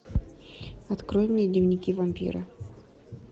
открой мне дневники вампира